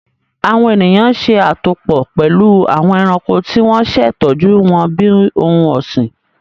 Awọn eniyan ṣe atopọ pẹlu awọn ẹranko ti wọn ṣe tọju wọn bi ohun ọsin